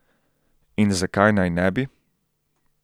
In zakaj naj ne bi?